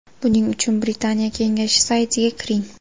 Buning uchun Britaniya kengashi saytiga kiring.